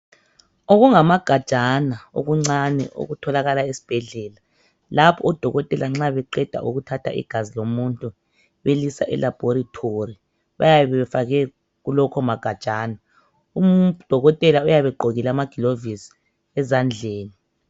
Okungama gajana okuncane okutholakala esibhedlela. Lapho odokotela nxa beqeda ukuthatha igazi lomuntu belisa eLaboratory bayabe befake kulokho magajana. Udokotela kuyabe egqokile amagilovosi ezandleni.